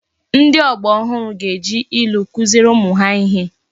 Ndi ogba ohuru ga eji ilu kuziere umu ha ihe